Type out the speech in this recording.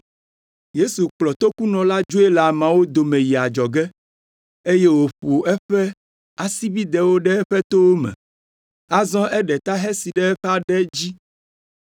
Yesu kplɔ tokunɔ la dzoe le ameawo dome yi adzɔge, eye wòƒo eƒe asibidɛwo ɖe eƒe towo me. Azɔ eɖe ta hesi ɖe eƒe aɖe dzi.